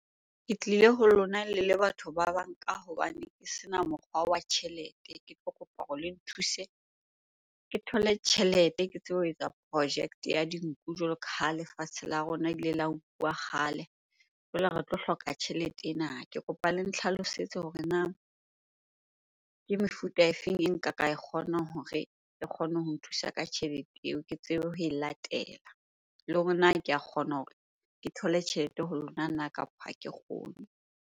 Ke tlile ho lona le le batho ba bang ka hobane ke sena mokgwa wa tjhelete. Ke tlo kopa hore le nthuse ke thole tjhelete ke tsebe ho etsa project-e ya dinku jwalo ka ha lefatshe la rona ile la nkuwa kgale, jwale re tlo hloka tjhelete ena. Ke kopa le ntlhalosetse hore na ke mefuta e feng e nka ka e kgona hore e kgone ho nthusa ka tjhelete eo ke tsebe ho e latela? Le hore na ke a kgona hore ke thole tjhelete ho lona na kapa ha ke kgone?